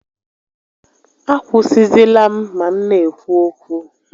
A kwụsịzịla m ma m n'ekwu okwu!